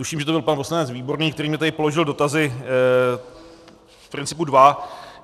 Tuším, že to byl pan poslanec Výborný, který mi tady položil dotazy, v principu dva.